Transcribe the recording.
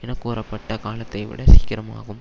என கூறப்பட்ட காலத்தைவிட சீக்கிரமாகும்